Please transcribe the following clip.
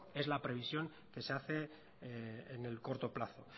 es la previsión que se hace en el corto plazo